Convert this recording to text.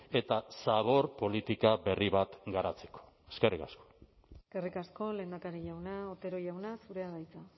eta zabor politika berri bat garatzeko eskerrik asko eskerrik asko lehendakari jauna otero jauna zurea da hitza